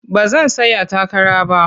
Ba zan tsaya takara ba.